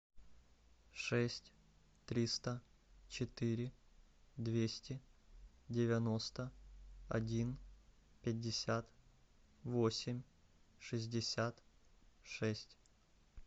шесть триста четыре двести девяносто один пятьдесят восемь шестьдесят шесть